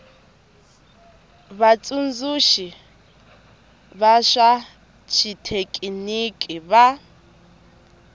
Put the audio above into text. vatsundzuxi va swa xithekiniki va